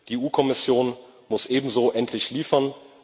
Die EU Kommission muss auch endlich liefern.